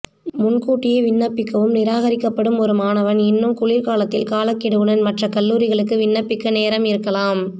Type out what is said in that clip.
முன்கூட்டியே விண்ணப்பிக்கவும் நிராகரிக்கப்படும் ஒரு மாணவர் இன்னும் குளிர்காலத்தில் காலக்கெடுவுடன் மற்ற கல்லூரிகளுக்கு விண்ணப்பிக்க நேரம் இருக்கலாம்